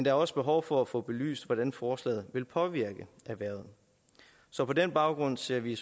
er også behov for at få belyst hvordan forslaget vil påvirke erhvervet så på den baggrund ser vi